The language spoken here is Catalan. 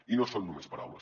i no són només paraules